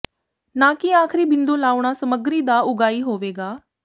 ਨਾ ਕਿ ਆਖਰੀ ਬਿੰਦੂ ਲਾਉਣਾ ਸਮੱਗਰੀ ਦਾ ਉਗਾਈ ਹੋਵੇਗਾ